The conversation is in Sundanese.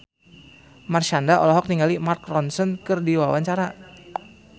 Marshanda olohok ningali Mark Ronson keur diwawancara